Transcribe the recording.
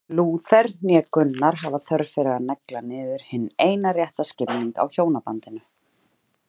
Lúther né Gunnar hafa þörf fyrir að negla niður hinn eina rétta skilning á hjónabandinu.